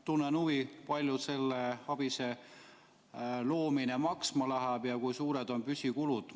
Tunnen huvi, palju selle ABIS-e loomine maksma läheb ja kui suured on püsikulud.